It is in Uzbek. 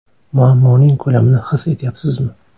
Muammoning ko‘lamini his etyapsizmi?